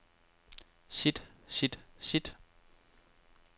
sit sit sit